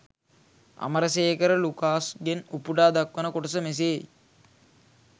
අමරසේකර ලුකාෂ්ගෙන් උපුටා දක්වන කොටස මෙසේයි.